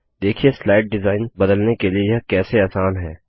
देखिए slide design बदलने के लिए यह कैसे आसान है